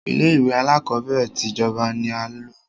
Ilé ìwé alákọ̀berẹ̀ tí ìjọba ní a lọ.